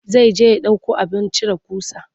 Zai je ya ɗauko abin cire ƙusa.